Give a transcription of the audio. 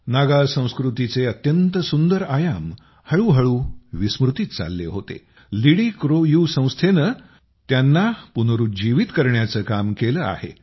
नागा संस्कृतीचे अत्यंत सुंदर आयाम हळूहळू विस्मृतीत चालले होते लिडिक्रोयू संस्थेनं पुन्हा त्यांना पुनरूज्जीवित करण्याचं काम केलं आहे